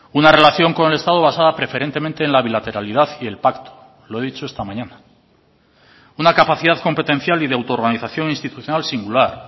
una relación con el estado basada preferentemente en la bilateralidad y el pacto lo he dicho esta mañana una capacidad competencial y de autorganización institucional singular